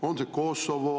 On see Kosovo?